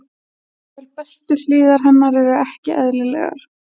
En jafnvel bestu hliðar hennar eru ekki eðlilegar.